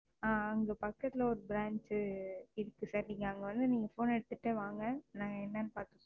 ஆ அங்க பக்கத்துல ஒரு Branch இருக்கு Sir நீங்க அங்க வந்து நீங்க Phone எடுத்துட்டே வாங்க நாங்க என்னன்னு பாக்குறோம்,